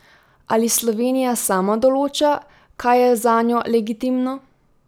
Ali Slovenija sama določa, kaj je zanjo legitimno?